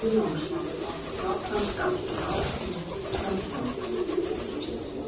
Skúli Jónsson átti flottan skalla hárfínt framhjá.